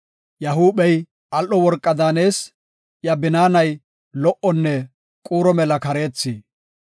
Iya huuphey al7o worqa daanees; iya binaanay lo77onne quuro mela kareethi.